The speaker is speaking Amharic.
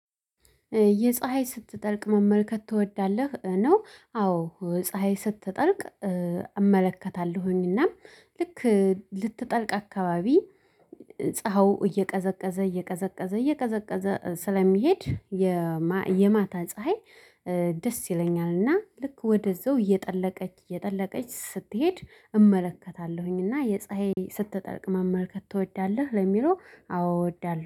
የፀሀይ ስትጠልቅ መመልከት ትወዳለህ ነው? አዎ ፀሀይ ስትጠልቅ እመለከታለሁኝና ልክ ልትጠልቅ አካባቢ ፀሀው እየቀዘቀዘ እየቀዘቀዘ እየቀዘቀዘ ስለሚሄድ የማታ ፀሀይ። ደስ ይለኛልና ልክ ወደዛው እየጠለቀች እየጠለቀች ስትሄድ እመለከታለሁኝና። የፀሀይ ስትጠልቅ መመልከት ትወዳለህ? ለሚለው አወድዳለሁ